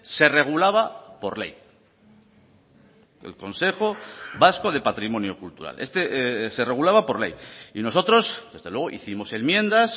se regulaba por ley el consejo vasco de patrimonio cultural este se regulaba por ley y nosotros desde luego hicimos enmiendas